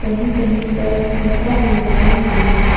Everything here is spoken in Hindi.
ये कहीं पर शीशा भी लगाया हुआ है।